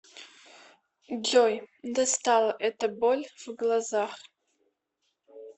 джой достала эта боль в глазах